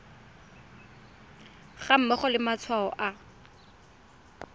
ga mmogo le matshwao a